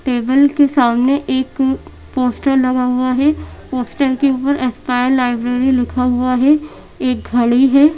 Table के सामने एक पोस्टर लगा हुआ है पोस्टर के ऊपर स्पायर लाइब्रेरी लिखा हुआ है एक घड़ी है।